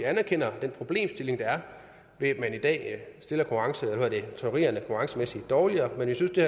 anerkender den problemstilling der er ved at trykkerierne i dårligere men jeg synes det